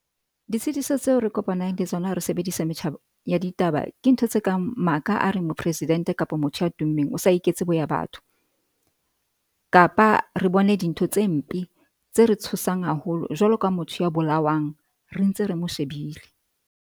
Ditshitiso tseo re kopang le tsona ha re sebedisa metjha ya ditaba. Ke ntho tse kang maka a reng mopresidente kapa motho ya tummeng o sa iketse boya batho, kapa re bone dintho tse mpe tse re tshosang haholo jwalo ka motho ya bolawang ntse re mo shebile.